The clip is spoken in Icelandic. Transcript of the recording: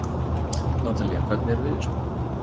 Natalía, hvernig er veðurspáin?